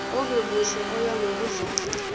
ongemuhle oya ngokudlanga